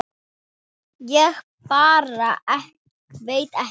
Ég bara veit ekki.